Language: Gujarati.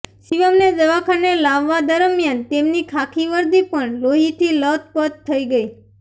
શિવમને દવાખાને લાવવા દરમ્યાન તેમની ખાખી વર્દી પણ લોહીથી લથપથ થઈ ગઈ